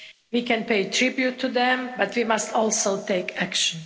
We can pay tribute to them, but we must also take action.